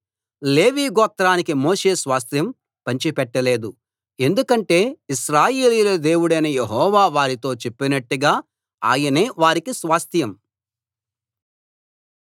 లేవీ గోత్రానికి మోషే స్వాస్థ్యం పంచిపెట్ట లేదు ఎందుకంటే ఇశ్రాయేలీయుల దేవుడైన యెహోవా వారితో చెప్పినట్టుగా ఆయనే వారికి స్వాస్థ్యం